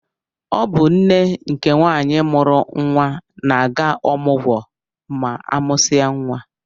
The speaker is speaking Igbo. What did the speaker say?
Ọ bụ nne nke nwaanyị mụrụ nwa na-aga ọmụgwọ ma amụsia nwa.